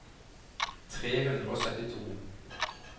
tre hundre og syttito